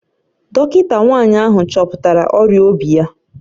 Dọkịta nwanyị ahụ chọpụtara ọrịa obi ya